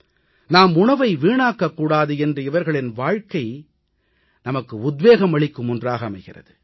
நாம் உணவை வீணாக்கக் கூடாது என்று இவர்களின் வாழ்கை நமக்கு உத்வேகம் அளிக்கும் ஒன்றாக அமைகிறது